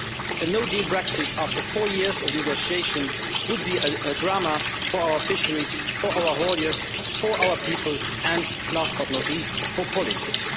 A no deal Brexit after four years of negotiations would be a drama for our fisheries, for our hauliers, for our people and, last but not least, for politics.